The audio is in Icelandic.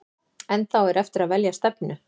En þá er eftir að velja stefnu.